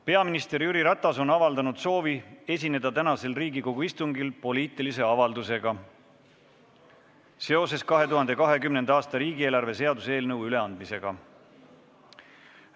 Peaminister Jüri Ratas on avaldanud soovi esineda tänasel Riigikogu istungil poliitilise avaldusega seoses 2020. aasta riigieelarve seaduse eelnõu üleandmisega.